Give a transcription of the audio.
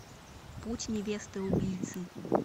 путь невесты убийцы